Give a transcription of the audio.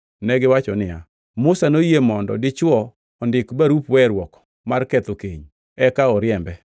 Negiwacho niya, “Musa noyie mondo dichwo ondik barup weruok mar ketho keny eka oriembe.”